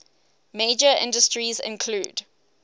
major industries include